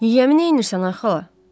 Yiyəmi neynirsən ay xala?